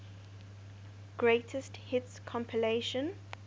greatest hits compilation